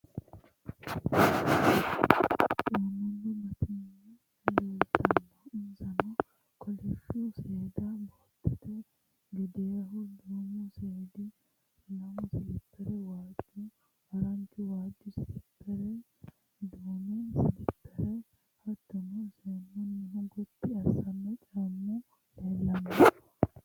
Caammubba batinye leeltannoe insano kolishshu seeda bootete gedeehu duumu seedi lamu silipperra waajju haranchu waajju silippere duume silippere hattono seennunnihi Gotti assanno caammu leellanno.